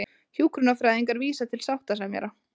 Hjúkrunarfræðingar vísa til sáttasemjara